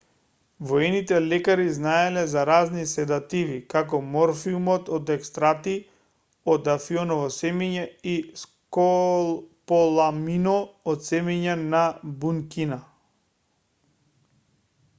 воените лекари знаеле за разни седативи како морфиумот од екстракти од афионови семиња и скополаминот од семиња на буника